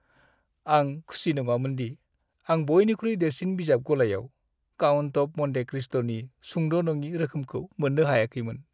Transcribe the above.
आं खुसि नङामोन दि आं बयनिख्रुइ देरसिन बिजाब गलायाव "काउन्ट अफ मन्टे क्रिस्ट"नि सुंद'-नङि रोखोमखौ मोननो हायाखैमोन।